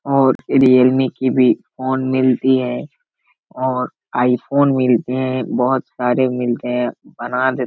और रीयलमी की भी फ़ोन मिलती है। और आई फ़ोन मिलते है । बहुत सारे मिलते है ।